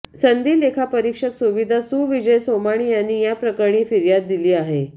सनदी लेखापरिक्षक सुविद्या सुविजय सोमाणी यांनी या प्रकरणी फिर्याद दिली आहे